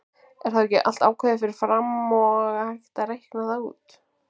Er þá ekki allt ákveðið fyrir fram og hægt að reikna það út?